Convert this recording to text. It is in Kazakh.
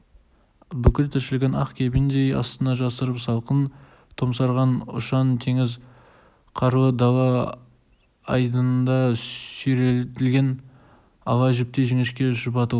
бүткіл тіршілігін ақ кебіндей астына жасырып салқын томсарған ұшан-теңіз қарлы дала айдынында сүйретілген ала жіптей жіңішке шұбатылып